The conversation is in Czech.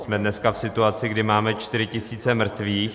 Jsme dneska v situaci, kdy máme 4 tisíce mrtvých.